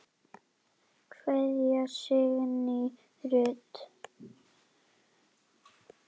Kveðja, Signý Rut.